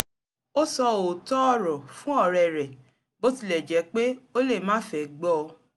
ó sọ òòtó ọ̀rọ̀ fún ọ̀rẹ́ rẹ̀ bó tilẹ̀ jẹ́ pé ó lè máà fẹ́ gbọ́ o